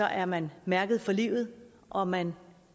er man mærket for livet og man